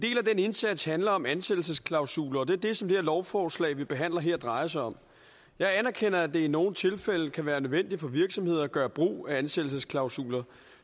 indsats handler om ansættelsesklausuler og det er det som det her lovforslag vi behandler her drejer sig om jeg anerkender at det i nogle tilfælde kan være nødvendigt for virksomheder at gøre brug af ansættelsesklausuler